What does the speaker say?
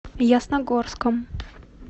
ясногорском